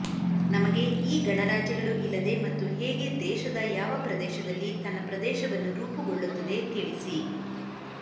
ನಮಗೆ ಈ ಗಣರಾಜ್ಯಗಳು ಇಲ್ಲದೆ ಮತ್ತು ಹೇಗೆ ದೇಶದ ಯಾವ ಪ್ರದೇಶದಲ್ಲಿ ತನ್ನ ಪ್ರದೇಶವನ್ನು ರೂಪುಗೊಳ್ಳುತ್ತದೆ ತಿಳಿಸಿ